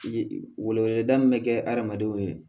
Wele weleda min bɛ kɛ adamadenw ye